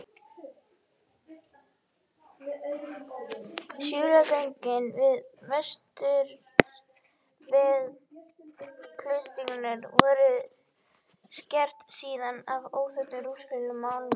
Súlnagöngin við vesturvegg klaustursins voru skreytt síðar af óþekktum rúmenskum málara.